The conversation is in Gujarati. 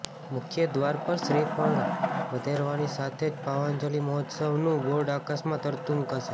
મુખ્ય દ્વાર પર શ્રીફળ વધેરવાની સાથે જ ભાવાંજલિ મહોત્સવનું બોર્ડ આકાશમાં તરતું મુકાશે